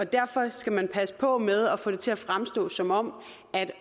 derfor skal man passe på med at få det til at fremstå som om